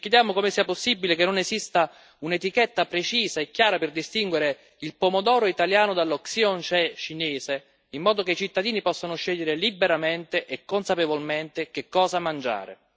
Ci chiediamo come sia possibile che non esista un'etichetta precisa e chiara per distinguere il pomodoro italiano dallo Xinjiang cinese, in modo che i cittadini possano scegliere liberamente e consapevolmente che cosa mangiare.